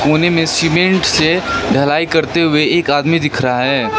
कोने में सीमेंट से ढलाई करते हुए एक आदमी दिख रहा है।